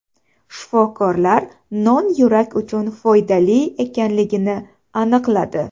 Shifokorlar non yurak uchun foydali ekanligini aniqladi.